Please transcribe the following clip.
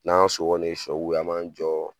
N'an ŋa so kɔni ye kɛ an m'an jɔ